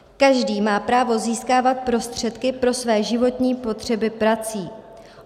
Každý má právo získávat prostředky pro své životní potřeby prací.